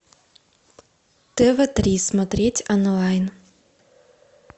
тв три смотреть онлайн